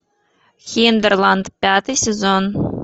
хинтерланд пятый сезон